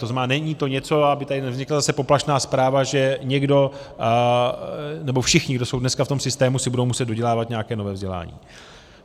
To znamená, není to něco, aby tady nevznikla zase poplašná zpráva, že někdo, nebo všichni, kdo jsou dneska v tom systému, si budou muset dodělávat nějaké nové vzdělání.